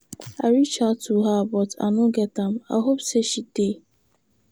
I reach out to her but I no get am, I hope say she dey.